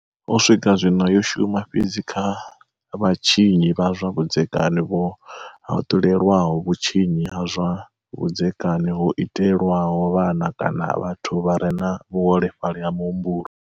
U swika zwino, yo shuma fhedzi kha vha tshinyi vha zwa vhudzekani vho haṱulelwaho vhu tshinyi ha zwa vhudzekani ho itelwaho vhana kana vhathu vha re na vhu holefhali ha muhumbulo.